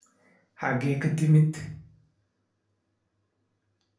Xagee ka timid